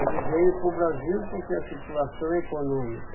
Ele veio para o Brasil porque a situação econômica.